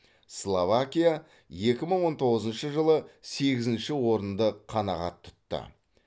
словакия екі мың он тоғызыншы жылы сегізінші орынды қанағат тұтты